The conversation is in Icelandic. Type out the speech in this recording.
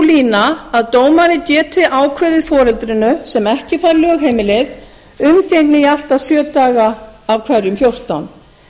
lína að dómari geti ákveðið foreldrinu sem ekki fær lögheimilið umgengni í allt að sjö daga af hverjum fjórtán